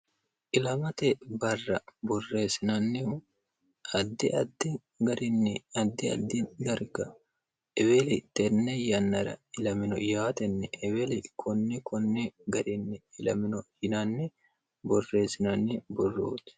Ilamate barra borreessinanihu addi addi garinni addi addi darga eweli tene yannara ilamino yaateni eweli konne konne garini ilamino yinanni worre borreessinanni borroti.